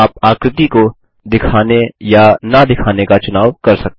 आप आकृति को दिखाने या न दिखाने का चुनाव कर सकते हैं